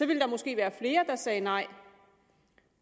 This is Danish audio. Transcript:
ville der måske være flere der sagde nej